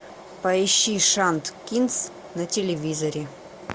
поищи шант кинс на телевизоре